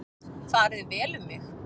Farið vel um mig?